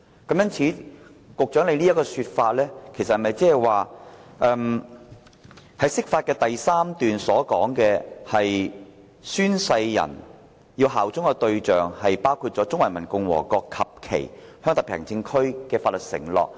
局長說《解釋》的第三條說明相關公職人員是對中華人民共和國及其香港特別行政區作出法律承諾。